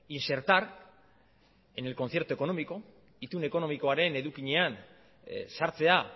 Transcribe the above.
insertar en el concierto económico itun ekonomikoaren edukinean sartzea